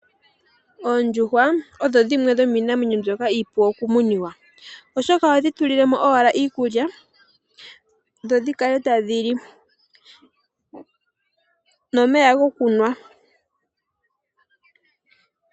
Oondjuhwa odho dhimwe dhomiinamwenyo mbyoka iipu okumuniwa oshoka oho dhi tulilemo owala iikulya dho dhi kale tadhi li nomeya gokunwa.